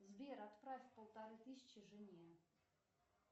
сбер отправь полторы тысячи жене